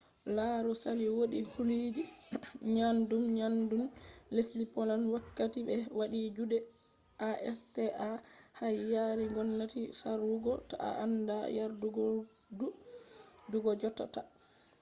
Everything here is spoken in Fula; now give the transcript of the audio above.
lauru sali wodi huluji nyaddun-nyaddun lesdi poland wakkati be wadi jude acta har yari gomnati sarwugo ta a anda yardudurgo jot ta